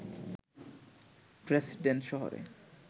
Dresden শহরে